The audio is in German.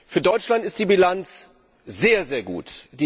Für Deutschland ist die Bilanz sehr, sehr gut.